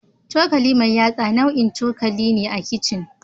cokali mai yatsa nau'in cokali ne a kicin